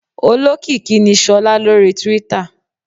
Olókìkí ni Sola lórí Twitter.